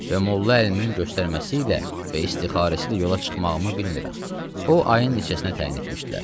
Və Molla Əlinin göstərməsi ilə və istixarəsi ilə yola çıxmağımı bilmirəm o ayın neçəsinə təyin etmişdilər.